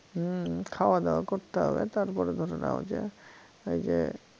হম খাওয়াদাওয়া করতে হবে তারপরে ধরে নাও যে এইযে